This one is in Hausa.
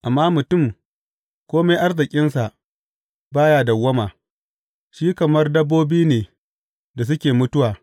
Amma mutum, kome arzikinsa, ba ya dawwama; shi kamar dabbobi ne da suke mutuwa.